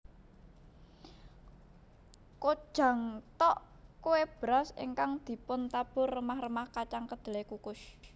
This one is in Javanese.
Kkojang tteok kue beras ingkang dipuntabur remah remah kacang kedelai kukus